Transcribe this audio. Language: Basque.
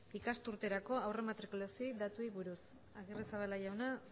ikasturterako aurrematrikulazio datuei buruz agirrezabala jauna